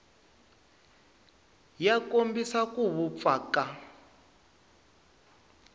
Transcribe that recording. ya kombisa ku vupfa ka